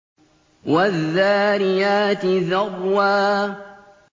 وَالذَّارِيَاتِ ذَرْوًا